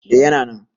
eh yana nan